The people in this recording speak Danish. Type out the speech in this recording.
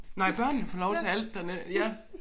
Nej børnene får lov til alt der ja